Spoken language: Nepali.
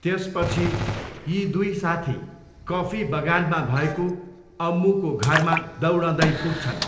त्यसपछि यी दुई साथी कफी बगानमा भएको अम्मुको घरमा दौडदै पुग्छन्।